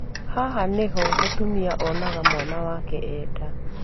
Haha nĩho mũtumia onaga mwana wake e nda